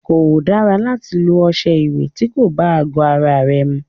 Kò dára láti lọ ọṣẹ ìwẹ̀ ti kò bá àgọ ara mu.